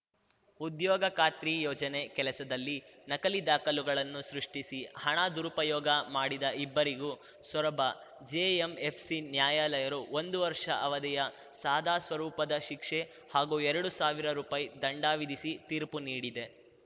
ಉದ್ಯೊಗ ಖಾತ್ರಿ ಯೋಜನೆ ಕೆಲಸದಲ್ಲಿ ನಕಲಿ ದಾಖಲುಗಳನ್ನು ಸೃಷ್ಟಿಸಿ ಹಣ ದುರುಪಯೋಗ ಮಾಡಿದ ಇಬ್ಬರಿಗೂ ಸೊರಬ ಜೆಎಂಎಫ್‌ಸಿ ನ್ಯಾಯಾಲಯರು ಒಂದು ವರ್ಷ ಅವಧಿಯ ಸಾದಾ ಸ್ವರೂಪದ ಶಿಕ್ಷೆ ಹಾಗೂ ಎರಡು ಸಾವಿರ ರುಪಾಯಿ ದಂಡ ವಿಧಿಸಿ ತೀರ್ಪು ನೀಡಿದೆ